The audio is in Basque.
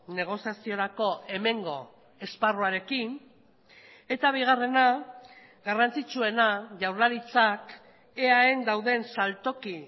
negoziaziorako hemengo esparruarekin eta bigarrena garrantzitsuena jaurlaritzak eaen dauden saltoki